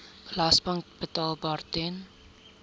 belasting betaalbaar ten